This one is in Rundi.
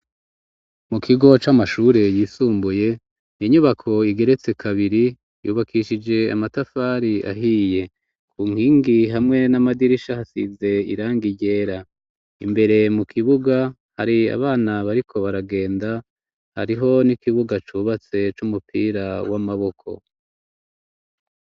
Mu kigo c'amashure yisumbuye, inyubako igeretse kabiri yubakishije amatafari ahiye ku nkingi hamwe n'amadirisha hasize iranga ryera, imbere mu kibuga hari abana bariko baragenda, hariho n'ikibuga cubatse c'umupira w'amaboko.